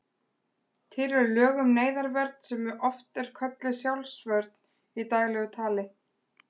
Til eru lög um neyðarvörn sem oft er kölluð sjálfsvörn í daglegu tali.